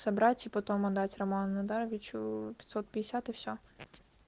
собрать и потом отдать роман надаровичу пятьсот пятьдесят и все